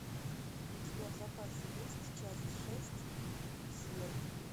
у тебя в запасе есть часть шесть след